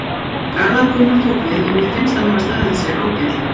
Garðar Gunnar tók við og mér finnst hann hafa staðið sig ágætlega.